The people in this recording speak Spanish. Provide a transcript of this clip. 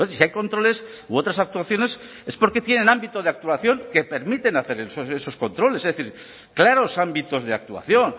si hay controles u otras actuaciones es porque tienen ámbito de actuación que permiten hacer esos controles es decir claros ámbitos de actuación